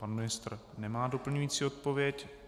Pan ministr nemá doplňující odpověď.